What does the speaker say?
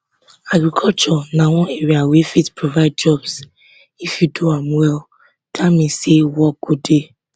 agriculture na one area wey fit provide jobs if you do am well dat mean say work go dey